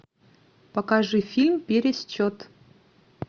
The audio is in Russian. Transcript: покажи фильм пересчет